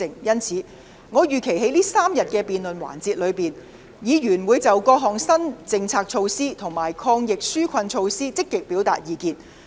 因此，我預期在這3天的辯論環節中，議員會就各項新政策措施及抗疫紓困措施積極表達意見。